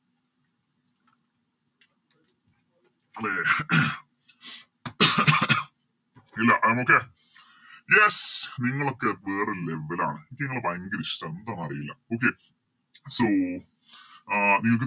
അതെ ഇല്ല I am okay yes നിങ്ങളൊക്കെ വേറെ Level ആണ് എനിക്കിങ്ങളെ ഭയങ്കര ഇഷ്ട്ടാണ് എന്താന്നറീല്ല Okay so ആഹ് നിങ്ങക്ക്